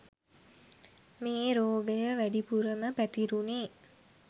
මේ රෝගය වැඩිපුරම පැතිරුණේ